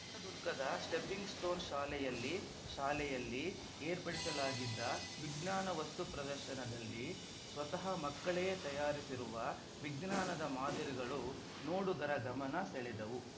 ಚಿತ್ರದುರ್ಗದ stepping stones ಶಾಲೆಯಲ್ಲಿ ಶಾಲೆಯಲ್ಲಿ ಏರ್ಪಡಿಸಲಾಗಿದ್ದ ವಿಜ್ಞಾನ ವಸ್ತು ಪ್ರದರ್ಶನದಲ್ಲಿ ಸ್ವತಃ ಮಕ್ಕಳೆ ತಯಾರಿಸಿರುವ ವಿಜ್ಞಾನದ ಮಾದರಿಗಳು ನೋಡುಗರ ಗಮನ ಸೆಳೆದವು